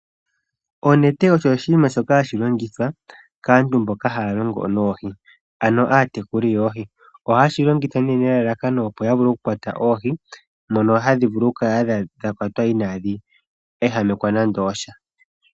Onete osho oshinima shoka hashi longithwa kaantu mboka haya longo noohi, ano aatekuli yoohi. Ohaye shi longitha nee nelalakano opo ya vule okukwata oohi, mono hadhi vulu okukala dha kwatwa inaadhi ehamekwa nande osha.